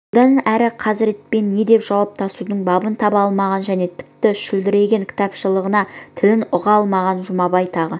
содан әрі хазіретпен не деп жауаптасудың бабын таба алмаған және тіпті шүлдіреген кітапшылаған тілін ұға алмаған жұмабай тағы